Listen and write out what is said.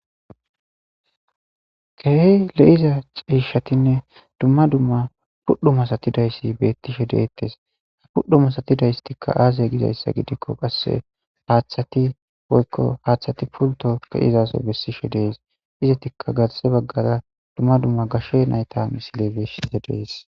Keehi lo'iza ciishshatinne dumma dumma pudho masatidayssi beetishe de'etes pudho masatidaysayti aaze gidizayssa gidiko qasse haaththati woykko haaththati pulto ke'izaso bessishe de'es izetikka garsse baggara dumma dumma gashe nayta misile beetishe de'es.